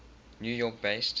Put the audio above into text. new york based